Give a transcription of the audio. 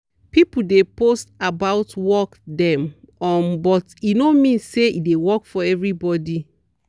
people de post about worked dem um but e no mean say e de work for every body.